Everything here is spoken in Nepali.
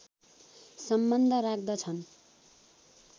सम्बन्ध राख्दछन्